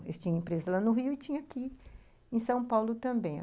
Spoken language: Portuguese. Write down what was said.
Eles tinham empresa lá no Rio e tinha aqui em São Paulo também.